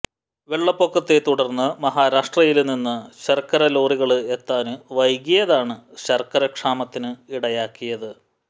വെള്ളപ്പൊക്കത്തെ തുടര്ന്ന് മഹാരാഷ്ട്രയില് നിന്ന് ശര്ക്കര ലോറികള് എത്താന് വൈകിയതാണ് ശര്ക്കര ക്ഷാമത്തിന് ഇടയാക്കിയത്